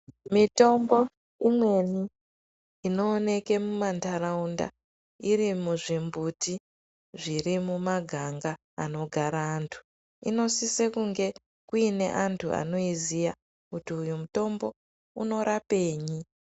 Mitombo imweni inoonkewa mumanharaunda iri muzvimbutu dziri mumaganga anogara antu inosisa kunge iine antu anoziya kuti uyu mutombo unorapei.